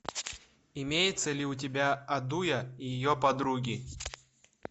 имеется ли у тебя адуя и ее подруги